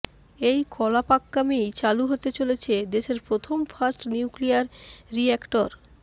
এই কলপাক্কামেই চালু হতে চলেছে দেশের প্রথম ফাস্ট নিউক্লিয়ার রিঅ্যাক্টর